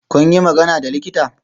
Kun yi magana da likita?